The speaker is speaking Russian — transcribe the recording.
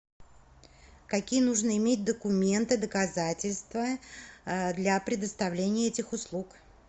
какие нужно иметь документы доказательства для предоставления этих услуг